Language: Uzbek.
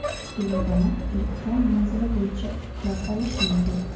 Ilovani elektron manzili bo‘yicha yuklab olish mumkin.